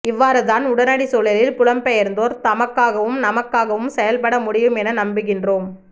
இவ்வாறு தான் உடனடிச் சூழலில் புலம் பெயர்ந்தோர் தமக்காகவும் நமக்காகவும் செயல் பட முடியும் என நம்புகின்றோம்